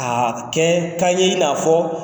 A kɛ kan ye i n'a fɔ